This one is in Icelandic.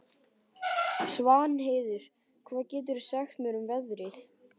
Svanheiður, hvað geturðu sagt mér um veðrið?